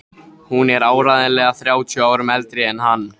Hún er áreiðanlega þrjátíu árum eldri en hann!